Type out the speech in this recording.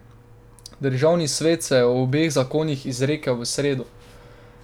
Državni svet se je o obeh zakonih izrekel v sredo.